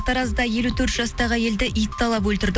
таразда елу төрт жастағы әйелді ит талап өлтірді